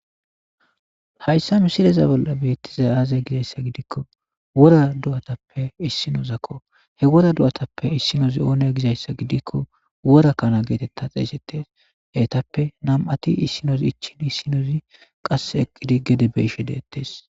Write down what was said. Hayssa misileza bolla beettiza aazey gizayssa gidikko wora du7atappe issinozakko he wora du7atappe issinozi oone gizayssa gidikko wora kana geetetta xeesetes heetappe nam7ati issinoz ichin issinozi qas eqqidi gede beishe deettes